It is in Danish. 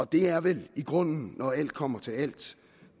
det er vel i grunden når alt kommer til alt